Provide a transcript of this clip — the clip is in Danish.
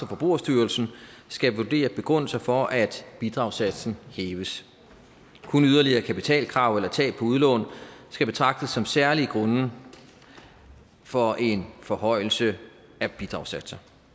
forbrugerstyrelsen skal vurdere begrundelser for at bidragssatsen hæves kun yderligere kapitalkrav eller tab på udlån skal betragtes som særlige grunde for en forhøjelse af bidragssatser